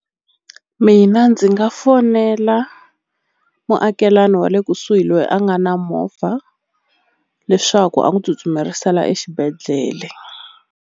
Mina ndzi nga fonela muakelani wa le kusuhi loyi a nga na movha leswaku a n'wi tsutsumerisela exibedhlele.